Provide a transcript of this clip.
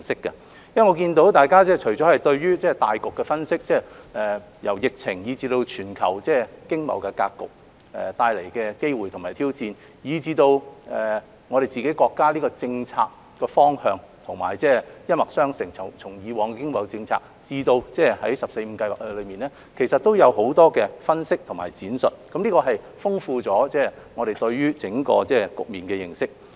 我看到大家除了對大局的分析，由疫情、全球經貿格局帶來的機會和挑戰，以至對國家的政策方向一脈相承，從以往的經貿政策至《十四五規劃綱要》，其實都有很多分析和闡述，豐富了我們對整個局面的認識。